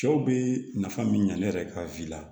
Cɛw be nafa min ɲa ne yɛrɛ ka la